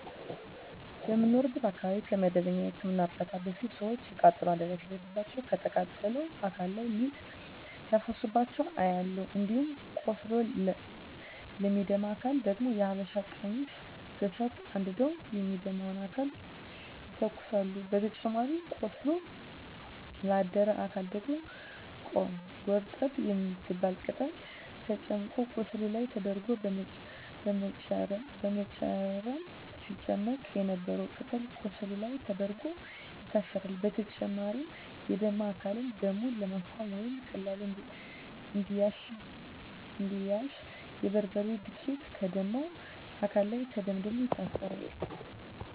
በምኖርበት አካባቢ ከመደበኛ የህክምና እርዳታ በፊት ሰወች የቃጠሎ አደጋ ሲደርስባቸው ከተቃጠለው አካል ላይ ሊጥ ሲያፈሱባቸው አያለሁ። እንዲሁም ቆስሎ ለሚደማ አካል ደግሞ የሀበሻ ቀሚስ በሳት አንድደው የሚደማውን አካል ይተኩሳሉ በተጨማሪም ቆስሎ ላደረ አካል ደግሞ ጎርጠብ የምትባል ቅጠል ተጨምቆ ቁስሉ ላይ ይደረጋል በመጨረም ሲጨመቅ የነበረው ቅጠል ቁስሉ ላይ ተደርጎ ይታሰራል። በተጨማሪም የደማ አካልን ደሙን ለማስቆመረ ወይም በቀላሉ እንዲያሽ የበርበሬ ዱቄት ከደማው አካል ላይ ተደምድሞ ይታሰራል።